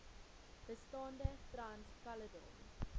bestaande trans caledon